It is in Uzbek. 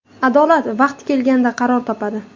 Adolat vaqti kelganda qaror topadi.